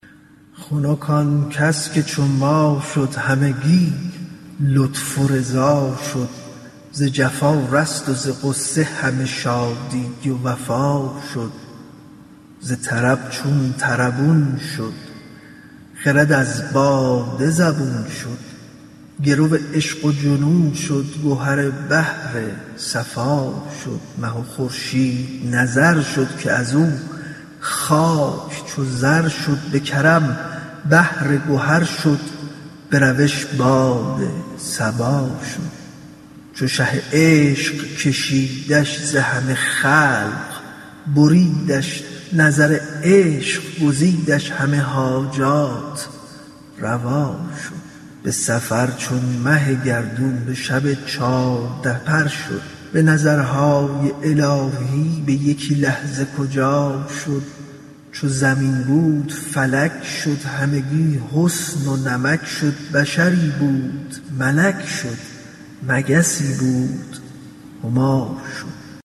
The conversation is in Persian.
خنک آن کس که چو ما شد همگی لطف و رضا شد ز جفا رست و ز غصه همه شادی و وفا شد ز طرب چون طربون شد خرد از باده زبون شد گرو عشق و جنون شد گهر بحر صفا شد مه و خورشید نظر شد که از او خاک چو زر شد به کرم بحر گهر شد به روش باد صبا شد چو شه عشق کشیدش ز همه خلق بریدش نظر عشق گزیدش همه حاجات روا شد به سفر چون مه گردون به شب چارده پر شد به نظرهای الهی به یکی لحظه کجا شد چو زمین بود فلک شد همگی حسن و نمک شد بشری بود ملک شد مگسی بود هما شد